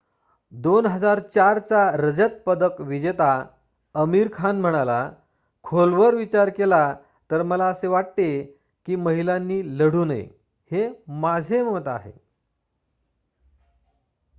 2004 चा रजत पदक विजेता आमिर खान म्हणाला खोलवर विचार केला तर मला असे वाटते कि महिलांनी लढू नये हे माझे मत आहे